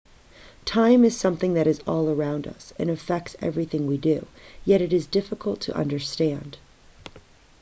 time is something that is all around us and affects everything we do yet is difficult to understand